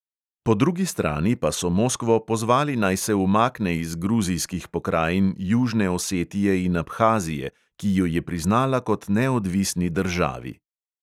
Po drugi strani pa so moskvo pozvali, naj se umakne iz gruzijskih pokrajin južne osetije in abhazije, ki ju je priznala kot neodvisni državi.